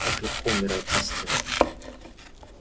как легко умирает истина